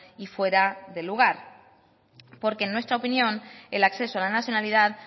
y fuera de lugar porque en nuestra opinión el acceso a la nacionalidad